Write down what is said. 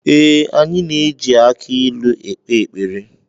Ee, anyị na eji aki ilu ekpere ekpere.